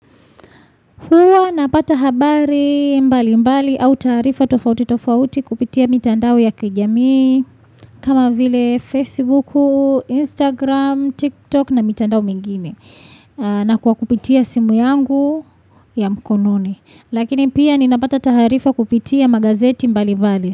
Napata habari mbali mbali au taarifa tofauti tofauti kupitia mitandao ya kijamii kama vile Facebook, Instagram, TikTok na mitandao mingine na kwa kupitia simu yangu ya mkononi lakini pia ninapata taarifa kupitia magazeti mbali mbali.